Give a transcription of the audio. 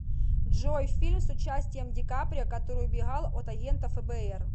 джой фильм с участием дикаприо который убегал от агентов фбр